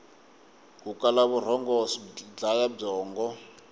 ku kala vurhongo swi dlaya byongo